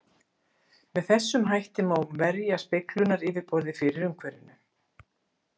Með þessum hætti má verja speglunaryfirborðið fyrir umhverfinu.